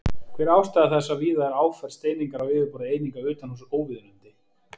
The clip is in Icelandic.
Hver er ástæða þess að víða er áferð steiningar á yfirborði eininga utanhúss óviðunandi?